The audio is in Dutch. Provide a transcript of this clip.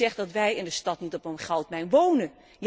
Maar wie zegt dat wij in de stad niet op een goudmijn wonen?